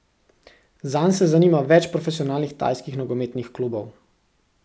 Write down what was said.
Zanj se zanima več profesionalnih tajskih nogometnih klubov.